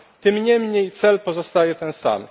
Tym niemniej cel pozostaje ten sam.